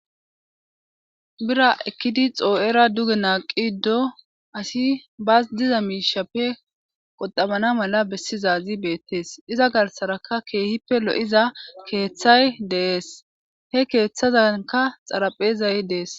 bira ekkidi xoo7era duge naaqi ddo asi bas diza miishappe qodamana mala bessizazi beettees iza garsaraka keehippe lo7iza keeththay dees he keeththazanka xaraphezay dees